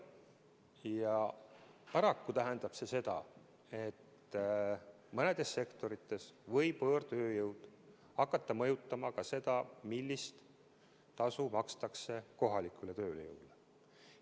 Ja paraku tähendab see seda, et mõnedes sektorites võib võõrtööjõud hakata mõjutama seda, millist tasu makstakse kohalikule tööjõule.